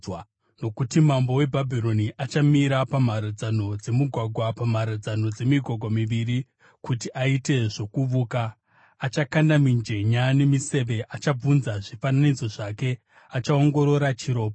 Nokuti mambo weBhabhironi achamira pamharadzano dzemugwagwa, pamharadzano dzemigwagwa miviri, kuti aite zvokuvuka: Achakanda mijenya nemiseve, achabvunza zvifananidzo zvake, achaongorora chiropa.